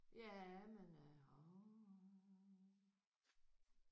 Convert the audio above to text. Ja men øh åh